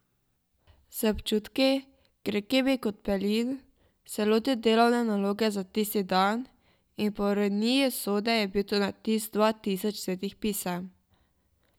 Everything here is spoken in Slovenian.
Z občutki, grenkimi kot pelin, se je lotil delovne naloge za tisti dan, in po ironiji usode je bil to natis dva tisoč svetih pisem!